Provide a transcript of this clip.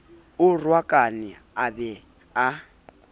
a rohakane a be a